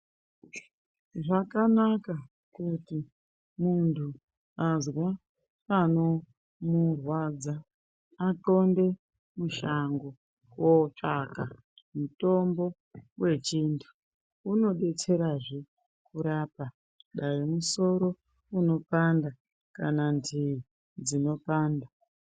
Zvakanaka kuti muntu azwa panomurwadza atxonde mushango kotswaga mitombo yechintu. Unobetserazve kurapa dai musoro unopanda kana ndivi dzinopanda.